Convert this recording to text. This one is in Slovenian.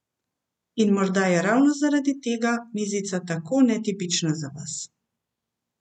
In morda je ravno zaradi tega mizica tako netipična za vas.